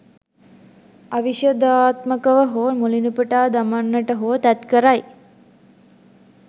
අවිශදාත්මකව හෝ මුලිනුපුටා දමන්නට හෝ තැත් කරයි.